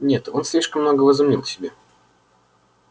нет он слишком много возомнил о себе